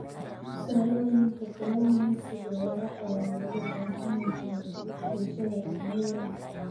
Tusaalooyinka kalluumeysiga waara ayaa looga baahan yahay bulshada dhexdeeda.